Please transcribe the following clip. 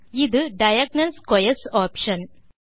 இது diagonal squares option